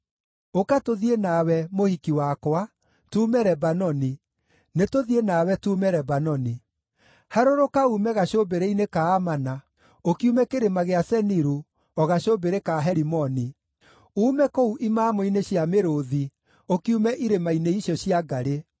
Ũka tũthiĩ nawe, mũhiki wakwa, tuume Lebanoni, nĩtũthiĩ nawe tuume Lebanoni. Harũrũka uume gacũmbĩrĩ-inĩ ka Amana, ũkiume kĩrĩma gĩa Seniru, o gacũmbĩrĩ ka Herimoni, uume kũu imamo-inĩ cia mĩrũũthi, ũkiume irĩma-inĩ icio cia ngarĩ.